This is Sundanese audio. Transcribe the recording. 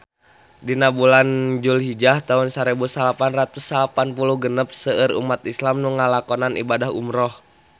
Dina bulan Dulhijah taun sarebu salapan ratus salapan puluh genep seueur umat islam nu ngalakonan ibadah umrah